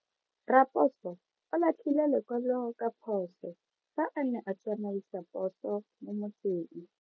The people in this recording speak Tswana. Raposo o latlhie lekwalo ka phoso fa a ne a tsamaisa poso mo motseng.